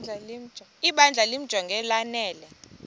ibandla limjonge lanele